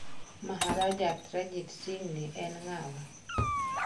Maharaja Ranjit Singhni en ng'awa?